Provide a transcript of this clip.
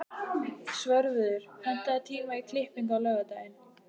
Svörfuður, pantaðu tíma í klippingu á laugardaginn.